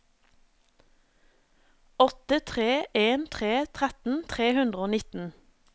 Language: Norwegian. åtte tre en tre tretten tre hundre og nitten